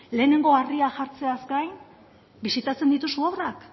lehenengo harria jartzeaz gain bisitatzen dituzu obrak